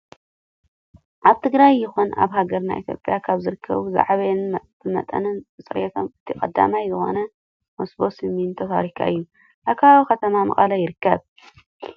ኣብ ትግራይ ይኹን ኣብ ሃገርና ኢትዮጵያ ካብ ዝርከቡ ዝዓበየን ብመጠንን ብፅሬቶም እቲ ቀዳማይ ዝኾነ መሰቦ ሲሚንቶ ፋብሪካ እዩ። ኣብ ከባቢ ከተማ መቐለ ይርከብ።